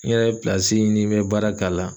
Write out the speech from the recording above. N yɛrɛ ɲini n bɛ baara k'a la